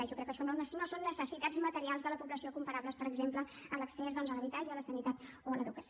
jo crec que això no són necessitats materials de la població comparables per exemple a l’accés doncs a l’habitatge a la sanitat o a l’educació